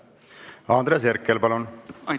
Andres Herkel, palun!